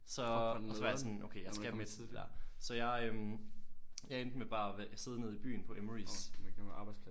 Så og så var jeg sådan okay jeg skal med til det der så jeg øh jeg endte med bare at sidde nede i byen på Emmerys